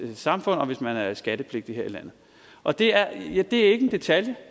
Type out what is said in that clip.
samfund og hvis man er skattepligtig her i landet og det er ikke en detalje